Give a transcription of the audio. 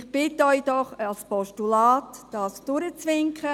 Ich bitte Sie doch, das als Postulat durchzuwinken.